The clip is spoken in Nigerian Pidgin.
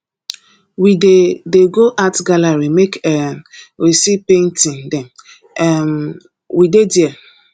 we dey dey go art gallery make um we see painting dem um wey dey there